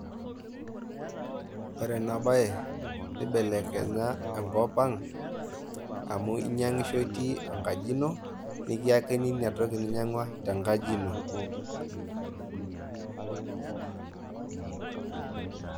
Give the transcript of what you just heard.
Ore ena bae neibelekenya enkop ang' amu inyang'isho itii enkaji ino, nikiakini inatoki ninyang'ua te nkaji ino.